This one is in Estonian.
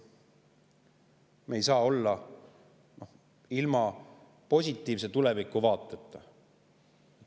Me ei saa olla ilma positiivse tulevikuvaateta.